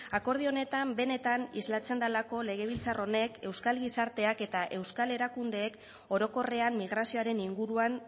akordio honetan benetan islatzen delako legebiltzar honek euskal gizarteak eta euskal erakundeek orokorrean migrazioaren inguruan